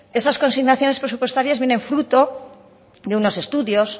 esas consignaciones presupuestarias vienen fruto de unos estudios